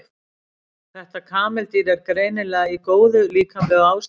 Þetta kameldýr er greinilega í góðu líkamlegu ástandi.